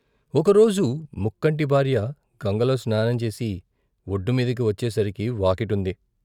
ఒక రోజు ముక్కంటి భార్య గంగలో స్నానం చేసి వొడ్డుమీదకి వచ్చేసరికి వాకిటుంది.